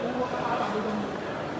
burdan da adam gəlmir.